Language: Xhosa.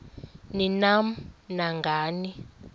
ni nam nangani